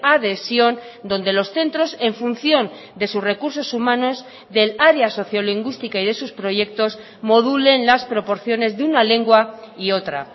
adhesión donde los centros en función de sus recursos humanos del área sociolingüística y de sus proyectos modulen las proporciones de una lengua y otra